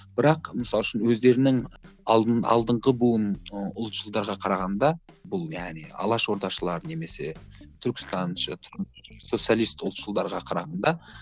бірақ мысалы үшін өздерінің алдыңғы буын ы ұлтшылдарға қарағанда бұл яғни алаш ордашылар немесе түркістан социалист ұлтшылдарға қарағанда